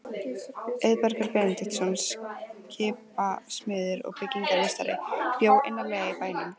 Auðbergur Benediktsson, skipasmiður og byggingarmeistari, bjó innarlega í bænum.